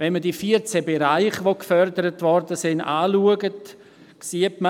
Wenn man die 14 Be- reiche, die gefördert wurden, betrachtet, sieht man: